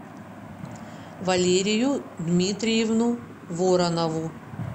валерию дмитриевну воронову